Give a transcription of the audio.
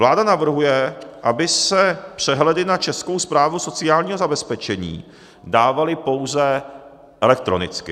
Vláda navrhuje, aby se přehledy na Českou správu sociálního zabezpečení dávaly pouze elektronicky.